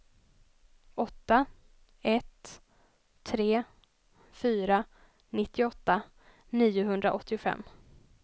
åtta ett tre fyra nittioåtta niohundraåttiofem